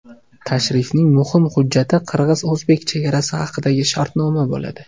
Tashrifning muhim hujjati qirg‘iz-o‘zbek chegarasi haqidagi shartnoma bo‘ladi.